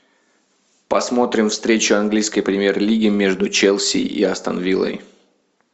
посмотрим встречу английской премьер лиги между челси и астон виллой